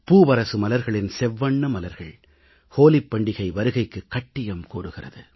பூவரசு மலர்களின் செவ்வண்ண மலர்கள் ஹோலிப் பண்டிகை வருகைக்குக் கட்டியம் கூறுகின்றன